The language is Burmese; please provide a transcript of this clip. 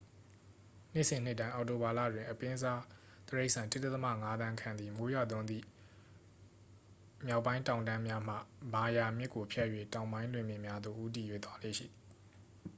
နှစ်စဉ်နှစ်တိုင်း အောက်တိုဘာလတွင် အပင်းစားတိရစ္ဆာန် 1.5 သန်းခန့်သည် မိုးရွာသွန်းသည့် မြောက်ပိုင်းတောင်တန်းများမှ မာရာ မြစ်ကိုဖြတ်၍ တောင်ပိုင်းလွင်ပြင်များသို့ ဦးတည်၍ သွားလေ့ရှိသည်